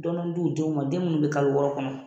Dɔɔni d'u denw ma, denw mun bɛ kalo wɔɔrɔ kɔnɔ.